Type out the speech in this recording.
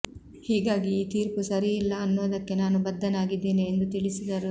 ಹೀಗಾಗಿ ಈ ತೀರ್ಪು ಸರಿಯಿಲ್ಲ ಅನ್ನೋದಕ್ಕೆ ನಾನು ಬದ್ಧನಾಗಿದ್ದೇನೆ ಎಂದು ತಿಳಿಸಿದರು